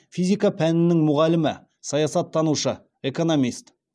физика пәнінің мұғалімі саясаттанушы экономист